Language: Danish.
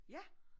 Ja